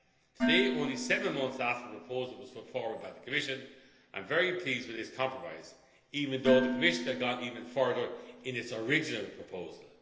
this light. Today, only seven months after the proposal was put forward by the Commission, I am very pleased with this compromise, even though the Commission had gone even further in its original